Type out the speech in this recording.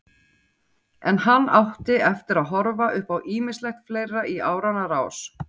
En hann átti eftir að horfa upp á ýmislegt fleira í áranna rás.